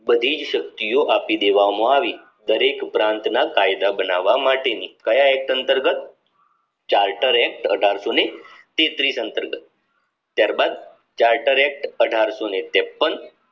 ની બધી જ શક્તિ ઓ આપી દેવામાં આવી દરેક પ્રાંત ના કાયદા બનાવ માટેની કાયા act અંતર્ગત charter act અઢારસો તેત્રીસ અંતર્ગત ત્યારબાદ charter act અઢારશોને ત્રેપન